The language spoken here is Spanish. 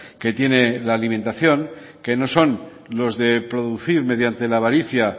que tiene la alimentación que no son los de producir mediante la avaricia